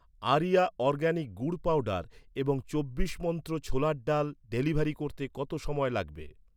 Area organic গুড় powder এবং চব্বিশ মন্ত্র ছোলার ডাল ডেলিভারি করতে কত সময় লাগবে?